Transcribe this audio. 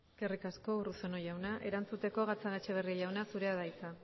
eskerrik asko urruzuno jauna erantzuteko gatzagaetxebarria jauna zurea da hitza